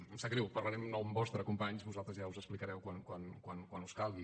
em sap greu parlaré en nom vostre companys vosaltres ja us explicareu quan us calgui